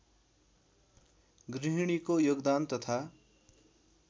गृहिणीको योगदान तथा